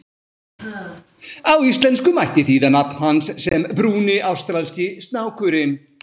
Á íslensku mætti þýða nafn hans sem Brúni ástralski snákurinn.